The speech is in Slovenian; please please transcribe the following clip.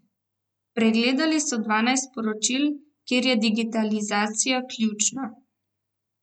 Pregledali so dvanajst področij, kjer je digitalizacija ključna.